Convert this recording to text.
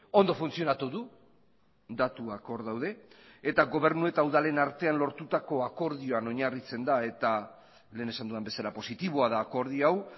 ondo funtzionatu du datuak hor daude eta gobernu eta udalen artean lortutako akordioan oinarritzen da eta lehen esan dudan bezala positiboa da akordio hau